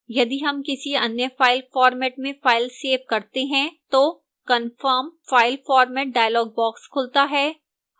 यदि हम किसी any file format में file सेव करते हैं तो confirm file format dialog box खुलता है